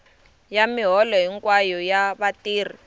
ya miholo hinkwayo ya vatirhi